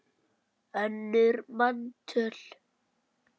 önnur manntöl